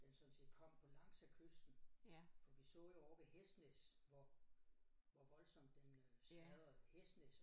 Den sådan set kom på langs af kysten for vi så jo ovre ved Hesnæs hvor hvor voldsomt den øh smadrede Hæsnes